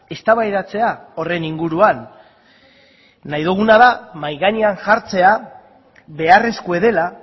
eztabaidatzea horren inguruan nahi duguna da mahai gainean jartzea beharrezkoa dela